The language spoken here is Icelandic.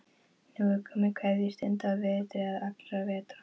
Nú er komið að kveðjustund á vetri allra vetra.